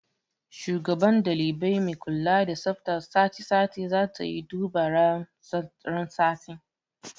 Shugaban ɗalibai mai kula da tsaftar sati sati zatayi duba ran sati